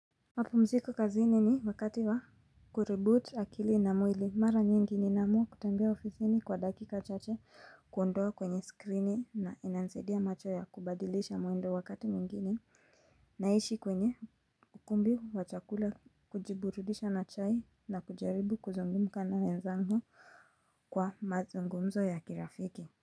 Mapumziko kazini ni wakati wa kureboot akili na mwili mara nyingi ninaamua kutembea ofisini kwa dakika chache kuondoa kwenye skrini na inanisaidia macho ya kubadilisha mwendo wakati mwengine. Naishi kwenye ukumbi wa chakula kujiburudisha na chai na kujaribu kuzungumza na wenzangu kwa mazungumzo ya kirafiki.